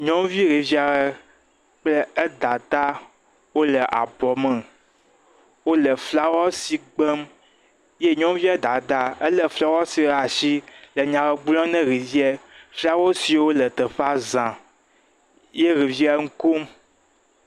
Nyɔnuvi ɖevi aɖe kple edada le abɔ me wole flawɛsi gbem ta nyɔnuvia dada le flowɛsi ɖe asi nya aɖe gblɔm na ɖevia flawɛsiwo le teƒea za ye ɖevia nukom